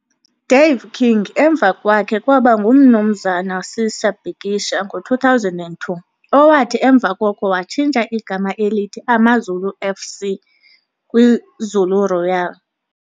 Dave King emva kwakhe kwaba nguMnumzana Sisa Bikisha ngo-2002, owathi emva koko watshintsha igama elithi AmaZulu F.C. kwiZulu Royal.